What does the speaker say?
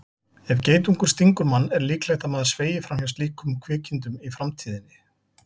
Ef geitungur stingur mann er líklegt að maður sveigi fram hjá slíkum kvikindum í framtíðinni.